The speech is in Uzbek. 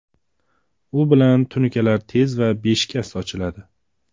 U bilan tunukalar tez va beshikast ochiladi.